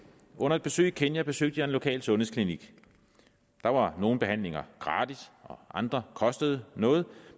under et besøg i kenya besøgte jeg en lokal sundhedsklinik der var nogle behandlinger gratis og andre kostede noget